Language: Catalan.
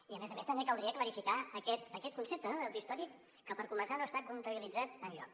i a més a més també caldria clarificar aquest concepte de deute històric que per començar no està comptabilitzat enlloc